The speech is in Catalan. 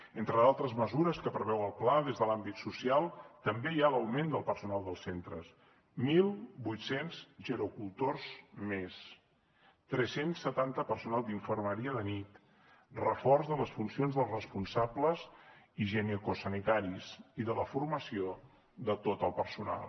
entre d’altres mesures que preveu el pla des de l’àmbit social també hi ha l’augment del personal dels centres mil vuit cents gerocultors més tres cents i setanta personal d’infermeria de nit reforç de les funcions dels responsables higienicosanitaris i de la formació de tot el personal